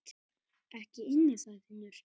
Ekki inni, sagði Finnur.